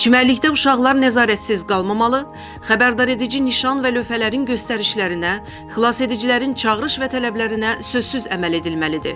Çimərlikdə uşaqlar nəzarətsiz qalmamalı, xəbərdaredici nişan və lövhələrin göstərişlərinə, xilasedicilərin çağırış və tələblərinə sözsüz əməl edilməlidir.